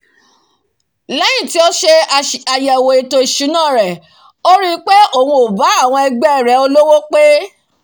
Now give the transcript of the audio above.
lẹ́yìn tí ó se àyẹ̀wò ètò ìsúná rẹ̀ ó ri pé òun ò bá àwọn ẹgbẹ́ rẹ̀ olówó pé